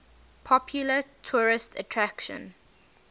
popular tourist attraction